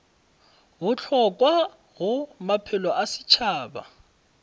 bohlokwa go maphelo a setšhaba